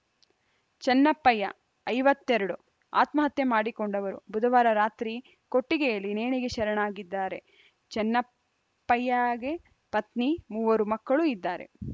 ಚೆನ್ನಪ್ಪಯ್ಯ ಐವತ್ತ್ ಎರಡು ಆತ್ಮಹತ್ಯೆ ಮಾಡಿಕೊಂಡವರು ಬುಧವಾರ ರಾತ್ರಿ ಕೊಟ್ಟಿಗೆಯಲ್ಲಿ ನೇಣಿಗೆ ಶರಣಾಗಿದ್ದಾರೆ ಚೆನ್ನಪ್ಪಯ್ಯಗೆ ಪತ್ನಿ ಮೂವರು ಮಕ್ಕಳು ಇದ್ದಾರೆ